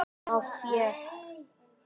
Þá fékk